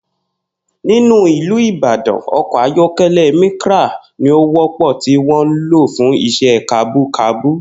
Nínú ìlú Ìbàdàn, o̩kò̩ ayó̩ké̩lé̩ Micra ni ó wó̩pò̩ tí wó̩n ń lò fún is̩é̩ kabúkabú